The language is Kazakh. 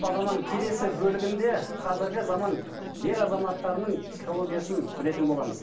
бағдарламаның келесі бөлігінде қазіргі заман ер азаматтарының психологиясын білетін боламыз